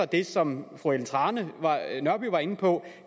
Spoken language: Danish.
det som fru ellen trane nørby var inde på